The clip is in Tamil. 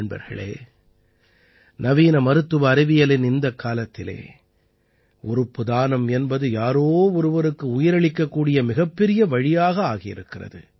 நண்பர்களே நவீன மருத்துவ அறிவியலின் இந்தக் காலத்திலே உறுப்பு தானம் என்பது யாரோ ஒருவருக்கு உயிர் அளிக்கக்கூடிய மிகப்பெரிய வழியாக ஆகியிருக்கிறது